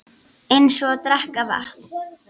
Eins og að drekka vatn.